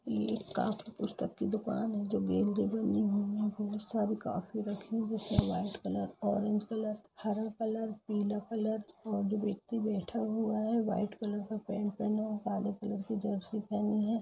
ये एक कॉपी पुसतक की दुकान है जो बहुत सारी कॉपी रखी हुई है| लाल कलर ऑरेंज कलर हरा कलर पीला कलर और एक व्यक्ति बैठा हुआ है व्हाइट कलर का पैंट पहना हुआ है काले कलर की जर्सी पहनी है।